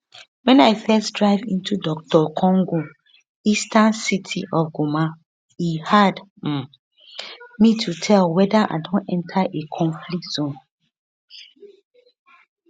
wen i first drive into dr congo eastern city of goma e hard um me to tell weda i don enter a conflict zone